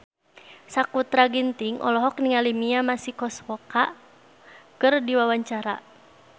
Sakutra Ginting olohok ningali Mia Masikowska keur diwawancara